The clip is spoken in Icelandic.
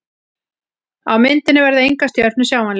Á myndinni verða engar stjörnur sjáanlegar.